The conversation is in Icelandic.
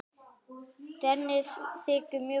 Dennis þykir mjög góður?